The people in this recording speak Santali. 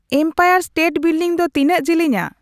ᱮᱢᱯᱟᱭᱟᱨ ᱤᱥᱴᱮᱴ ᱵᱤᱞᱰᱤᱝ ᱫᱚ ᱛᱤᱱᱟᱹᱜ ᱡᱤᱞᱤᱧᱟ